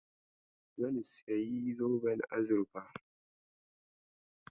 Zan sayi zoben azurfa.